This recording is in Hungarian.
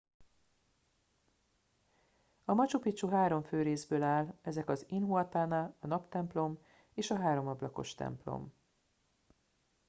a machu picchu három fő részből áll ezek az intihuatana a naptemplom és a háromablakos templom